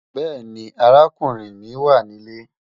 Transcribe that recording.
Bẹẹni, àràkùnrin mi wà ní ilẹ̀.